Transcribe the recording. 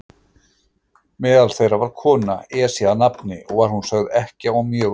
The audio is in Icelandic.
Meðal þeirra var kona, Esja að nafni, og var hún sögð ekkja og mjög auðug.